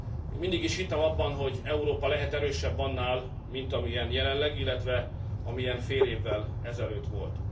Én mindig is hittem abban, hogy Európa lehet erősebb annál, mint amilyen jelenleg. illetve mint amilyen fél évvel ezelőtt volt.